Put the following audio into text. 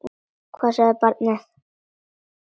Hvað sagði barnið?